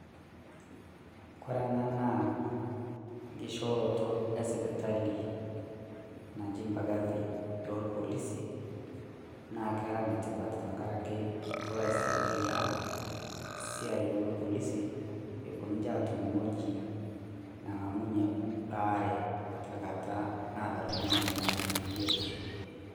koree enaa naa enkishoroto esipitali naji mbagathi olpolisi nakera enetipat tenkaraki kelo aisadia esiai olpolisi epuoo ninje atum ewueji nangamunye baare tenkata naata oltung'ani enyamali tenkata ebiotisho